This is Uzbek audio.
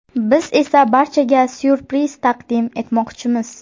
Biz esa barchaga ‘syurpriz’ taqdim etmoqchimiz.